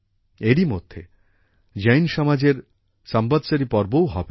এরই মধ্যে জৈন সমাজের সম্বৎসরি পর্বও হবে